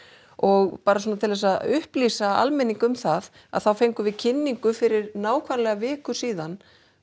og bara svona til þess að upplýsa almenning um það að þá fengum við kynningu fyrir nákvæmlega viku síðan